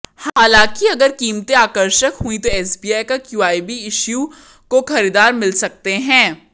हालांकि अगर कीमतें आकर्षक हुईं तो एसबीआई का क्यूआईबी इश्यू को खरीदार मिल सकते हैं